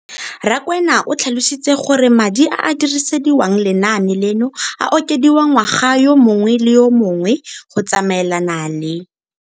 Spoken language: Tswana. Rakwena o tlhalositse gore madi a a dirisediwang lenaane leno a okediwa ngwaga yo mongwe le yo mongwe go tsamaelana le.